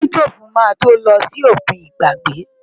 Sítóòfù máa tó lọ sí òkun ìgbàgbé.